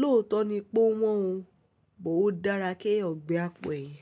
Lóòtọ́ ni pé ó wọ́n o, o dára kí eyan ò gbé àpò ẹyin.